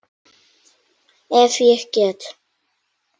Ef ég get.